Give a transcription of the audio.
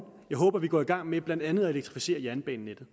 jeg håber vi går i gang med blandt andet at elektrificere jernbanenettet